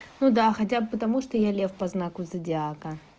ну да хотя бы потому что я лев по знаку зодиака